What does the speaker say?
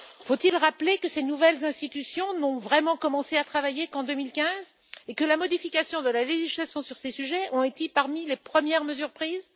Faut il rappeler que ses nouvelles institutions n'ont vraiment commencé leurs travaux qu'en 2015 et que la modification de la législation sur ces sujets a été parmi les premières mesures prises?